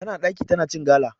Tana ɗaki tana cin gala.